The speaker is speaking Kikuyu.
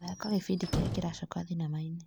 Thaka gĩbindi kĩrĩa kĩracoka thinema-inĩ .